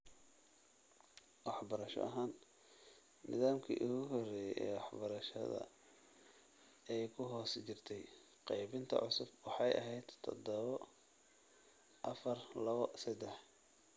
Waxbarasho ahaan, nidaamkii ugu horreeyay ee wax-barashada ee ku hoos jirtay qaybinta cusub waxay ahayd tadhawo - afaar- lawo- sedax